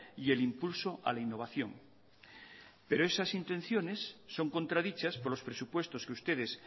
y el impulso a la innovación pero esas intenciones son contradichas por los presupuestos que ustedes